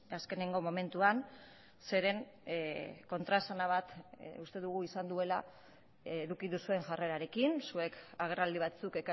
azkeneko momentuan zeren kontraesana bat uste dugu izan duela eduki duzuen jarrerarekin zuek agerraldi batzuk